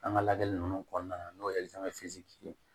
An ka lajɛli ninnu kɔnɔna na n'o ye ye